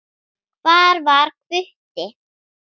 Hvar var Hvutti?